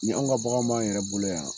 Ni anw ka baganw b'anw yɛrɛ bolo yan.